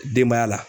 Denbaya la